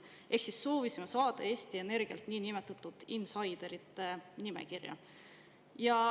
Ehk siis soovisime saada Eesti Energialt niinimetatud insaiderite nimekirja.